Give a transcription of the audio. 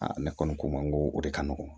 ne kɔni ko ma ko o de ka nɔgɔn